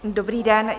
Dobrý den.